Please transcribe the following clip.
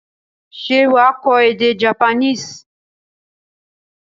Ṣé wà á kọ́ èdè Japanese?